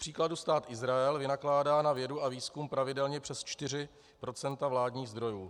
Kupříkladu Stát Izrael vynakládá na vědu a výzkum pravidelně přes 4 % vládních zdrojů.